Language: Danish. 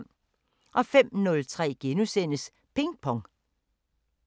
05:03: Ping Pong *